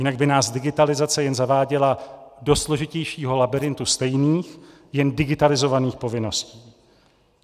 Jinak by nás digitalizace jen zaváděla do složitějšího labyrintu stejných, jen digitalizovaných povinností.